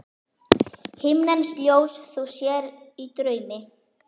Himneskt ljós þú sér í draumi.